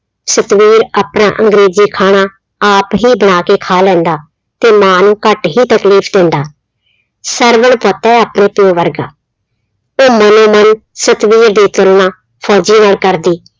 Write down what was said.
ਸਤਵੀਰ ਆਪਣਾ ਅੰਗਰੇਜ਼ੀ ਖਾਣਾ ਆਪ ਹੀ ਬਣਾ ਕੇ ਖਾ ਲੈਂਦਾ ਤੇ ਮਾਂ ਨੂੰ ਘੱਟ ਹੀ ਤਕਲੀਫ਼ ਦਿੰਦਾ, ਸਰਵਣ ਪੁੱਤ ਹੈ ਆਪਣੇ ਪਿਓ ਵਰਗਾ, ਉਹ ਮਨ ਹੀ ਮਨ ਸਤਵੀਰ ਦੀ ਗੱਲਾਂ ਫ਼ੋਜ਼ੀ ਨਾਲ ਕਰਦੀ।